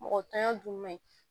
Mɔgɔ tanya dun man ɲi